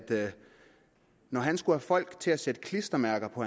når han skulle have folk til at sætte klistermærker på